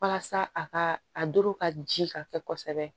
Walasa a ka a doro ka ji ka kɛ kosɛbɛ